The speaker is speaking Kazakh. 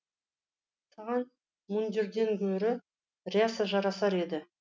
саған мундирден гөрі ряса жарасар еді